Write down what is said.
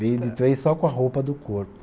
Veio de trem só com a roupa do corpo.